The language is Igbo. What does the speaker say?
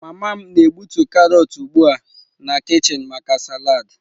Mama m na-egbutu karọt ugbu a na kichin maka salad.